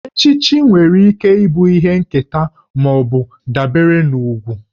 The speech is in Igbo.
Echichi nwere ike ịbụ ihe nketa ma ọ bụ dabere na ugwù